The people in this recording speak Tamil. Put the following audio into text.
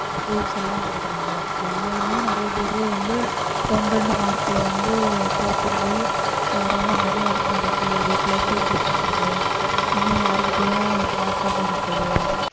rules எல்லாம் போடுறாங்க அதிலேயுமே நிறைய பேரு வந்து ஒண்ணு இரண்டு mark ல வந்து தோத்துப் போய் ஆஹ் ரொம்ப மன வருத்தப்பட்டு வீட்டுல தூக்கு போடுறது இனி யார்கிட்டயும் பேசாம இருக்கறது